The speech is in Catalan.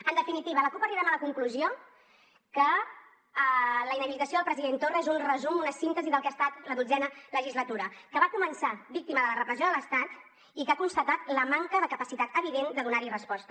en definitiva la cup arribem a la conclusió que la inhabilitació del president torra és un resum una síntesi del que ha estat la dotzena legislatura que va començar víctima de la repressió de l’estat i que ha constatat la manca de capacitat evident de donar hi resposta